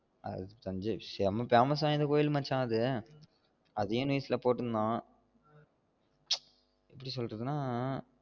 அது தஞ்சை செம்ம famous வாய்ந்த கோவில் மச்சான் அது அதையும் news ல போடுர்ந்தான் ச் எப்டி சொல்லுறதுன்னா